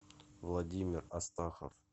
владимир астахов